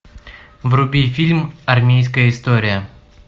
вруби фильм армейская история